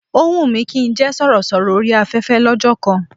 Ó wùn mí kí n jẹ́ sọ̀rọ̀sọ̀rọ̀ orí afẹ́fẹ́ lọ́jọ́ kan